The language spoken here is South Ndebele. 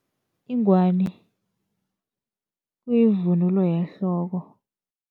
Ingwani kuyivunulo yehloko.